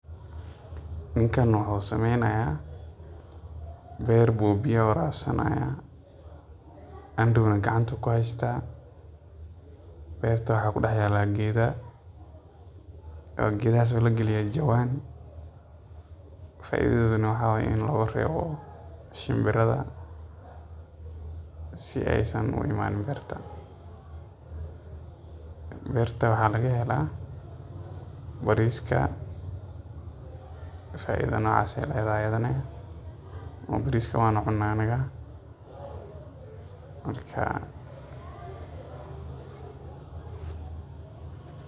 howshan aad bay muhim utahay xoolaa dhaqashada a ama dadka kale si ay meel katiin oga furtan ama xoolahoda kudhaqdan si ay udhirigalyaan ama aya cafimaadkooda kafurtaan ama noloshooda wax ooga qabsadaan si ay beri kamaalin noloshooda wax oogu qabsadan